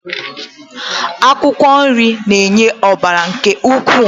Akwụkwọ nri na-enye ọbara nke ukwuu.